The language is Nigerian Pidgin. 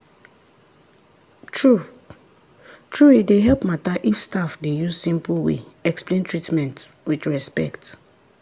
true-true e dey help matter if staff dey use simple way explain treatment with respect.